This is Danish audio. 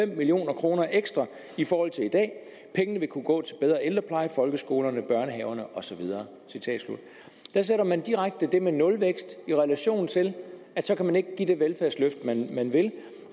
million kroner ekstra i forhold til i dag pengene vil kunne gå til bedre ældrepleje folkeskolerne børnehaverne og så videre der sætter man direkte det med nulvækst i relation til at så kan man ikke give det velfærdsløft man vil